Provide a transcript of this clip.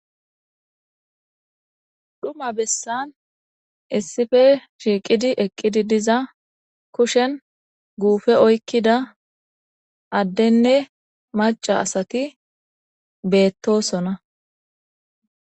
Dhuma besan issippe shiqid eqid diza kushen guupe oykida adenne maca asat betosona.